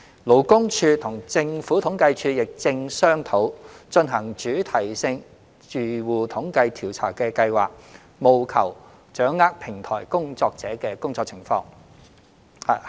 勞工處與政府統計處亦正商討進行主題性住戶統計調查的計劃，務求掌握平台工作者的工作情況。